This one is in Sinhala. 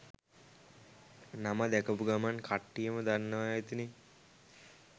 නම දැකපු ගමන් කට්ටියම දන්නවා ඇතිනේ